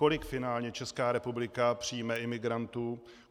Kolik finálně Česká republika přijme imigrantů?